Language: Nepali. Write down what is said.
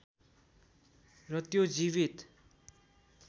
र त्यो जीवित